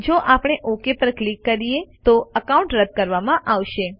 જો આપણે ઓક પર ક્લિક કરીએ તો એકાઉન્ટ રદ કરવામાં આવશે